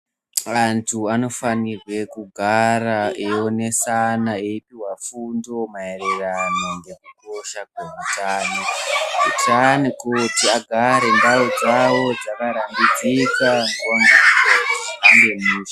Vanhu vanofanirwa kugara veionesana eipuhwa fundo maererano nekukosha kweutano kuti vagare ndau dzavo dzekugara dzakaraidzika kuti zvihambe mushe